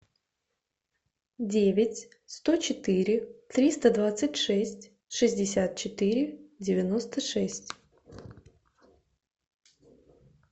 девять сто четыре триста двадцать шесть шестьдесят четыре девяносто шесть